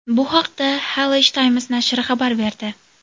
Bu haqda Khaleej Times nashri xabar berdi .